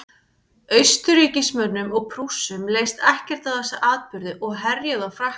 austurríkismönnum og prússum leist ekkert á þessa atburði og herjuðu á frakkland